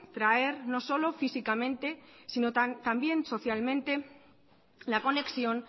traer no solo físicamente sino también socialmente la conexión